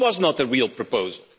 It was not a real proposal.